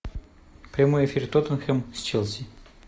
прямой эфир тоттенхэм с челси